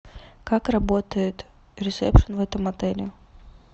как работает ресепшн в этом отеле